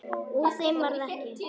Úr þeim varð ekki.